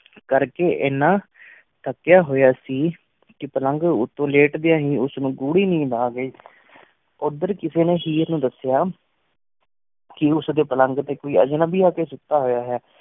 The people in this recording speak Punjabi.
ਕਰਕੇ ਏਨਾ ਥਕਿਆ ਹੋਇਆ ਸੀ ਕਿ ਪਲਘ ਉਤੋਂ ਲੇਟਦਿਆਂ ਹੀ ਉਸ ਨੂ ਗੂੜੀ ਨੀਂਦ ਆ ਗਈ ਉਦਰ ਕਿਸੇ ਨੀ ਹੀਰ ਨੂ ਦਸਿਆ ਕੀ ਉਸ ਦੇ ਪਲੰਘ ਤੇ ਕੋਈ ਅਜਨਬੀ ਆ ਕੇ ਸੁਤਾ ਹੋਇਆ ਹੈ